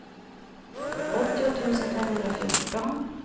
åttio tusen femhundrafjorton